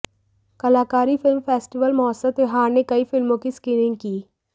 कलाकारी film festival महोत्सव त्योहार ने कई फिल्मों की स्क्रीनिंग की